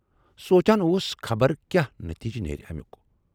سونچان اوس خبر کیاہ نتیجہ نیرِ امیُک۔